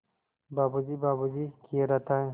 बाबू जी बाबू जी किए रहता है